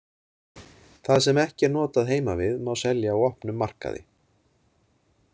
Það sem ekki er notað heima við má selja á opnum markaði.